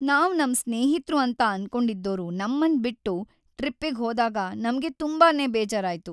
ನಾವ್ ನಮ್ ಸ್ನೇಹಿತ್ರು ಅಂತ ಅನ್ಕೊಂಡಿದ್ದೋರು ನಮ್ಮನ್ ಬಿಟ್ಟು ಟ್ರಿಪ್ಪಿಗ್ ಹೋದಾಗ ನಮ್ಗ್ ತುಂಬಾನೇ ಬೇಜಾರಾಯ್ತು.